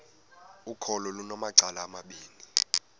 ukholo lunamacala amabini